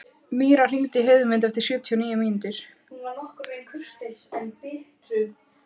Míra, hringdu í Heiðmund eftir sjötíu og níu mínútur.